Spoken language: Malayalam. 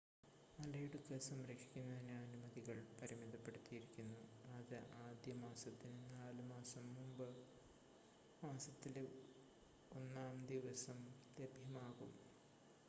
മലയിടുക്ക് സംരക്ഷിക്കുന്നതിന് അനുമതികൾ പരിമിതപ്പെടുത്തിയിരിക്കുന്നു അത് ആദ്യ മാസത്തിന് 4 മാസം മുമ്പ് മാസത്തിലെ 1 ആം ദിവസം ലഭ്യമാകും